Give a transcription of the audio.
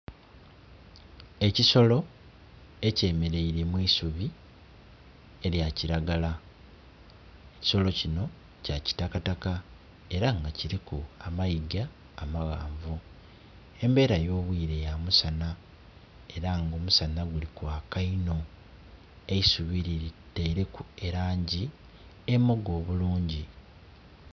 Ekisolo ekyemeleire mu isubi erya kiragala, ekisolo kino kya kitakataka era nga kiliku amayiga amaghanvu. Embera yo bwire ya musana era nga omusana guli kwaka inho, eisubi liteileku elangi emoga obulungi.